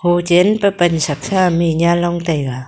hochen pan chak sa nanlong taiga.